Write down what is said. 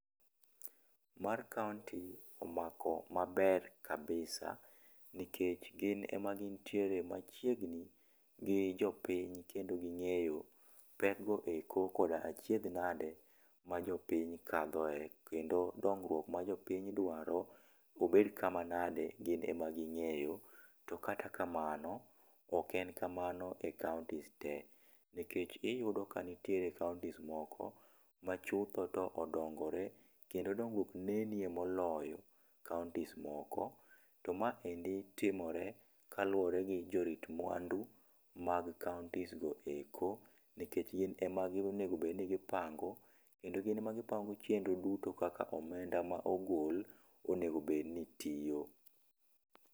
Mar kaunti omako ma ber kabisa nikech gin ema gin tiere machiegni gi jopiny kendo gi ng'eyo pek go eko kod achiedh nade ma jopiny kadho e, kendo dongruok ma jopiny dwaro obed ka ma nade ,gin e ma gi ng'eyo. To kata kamano ok en kamano e kauntis te nikech iyudo ka nitie kaunti moko ma ma chutho to odongore kendo dongruok neno e moloyo e kauntis moko ,to ma endi timore gi kaluore gi jorit mwandu e kauntis go mag kauntis go eko nikech gin e ma onego bed ni gi pango kendo gi pango chendro duto kaka omenda ma ogol ,onego bed ni tiyo.